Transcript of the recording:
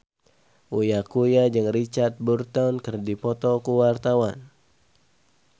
Uya Kuya jeung Richard Burton keur dipoto ku wartawan